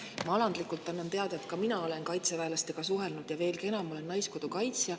Ma annan alandlikult teada, et ka mina olen kaitseväelastega suhelnud, veelgi enam, olen naiskodukaitsja.